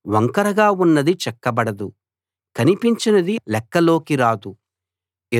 వంకరగా ఉన్నది చక్కబడదు కనిపించనిది లెక్కలోకి రాదు